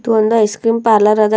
ಇದೊಂದ ice cream parlour ಅದ ಇಲ್ಲೊಂದ್ --